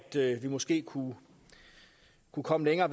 vi måske kunne kunne komme længere